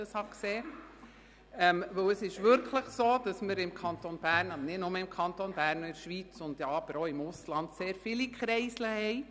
Es ist wirklich so, dass wir im Kanton Bern – und nicht nur im Kanton Bern, sondern auch in der Schweiz und im Ausland – sehr viele Kreisel haben.